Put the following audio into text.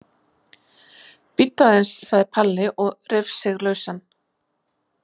Bíddu aðeins sagði Palli og reif sig lausan.